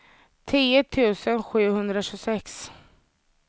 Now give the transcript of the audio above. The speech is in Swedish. tio tusen sjuhundratjugosex